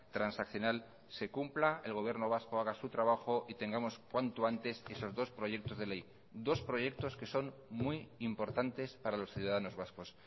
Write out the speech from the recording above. transaccional se cumpla el gobierno vasco haga su trabajo y tengamos cuanto antes esos dos proyectos de ley dos proyectos que son muy importantes para los ciudadanos vascos